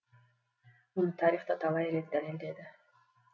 мұны тарих та талай рет дәлелдеді